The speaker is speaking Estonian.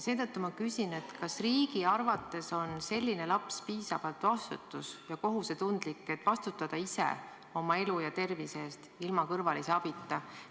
Seetõttu ma küsin, kas riigi arvates on selline laps piisavalt vastutus- ja kohusetundlik, et vastutada ise oma elu ja tervise eest, ilma kõrvalise abita.